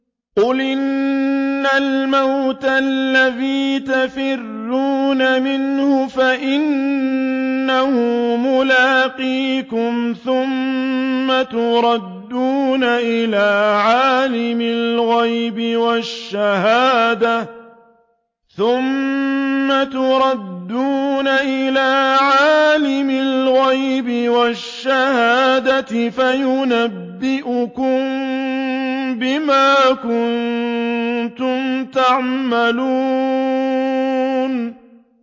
قُلْ إِنَّ الْمَوْتَ الَّذِي تَفِرُّونَ مِنْهُ فَإِنَّهُ مُلَاقِيكُمْ ۖ ثُمَّ تُرَدُّونَ إِلَىٰ عَالِمِ الْغَيْبِ وَالشَّهَادَةِ فَيُنَبِّئُكُم بِمَا كُنتُمْ تَعْمَلُونَ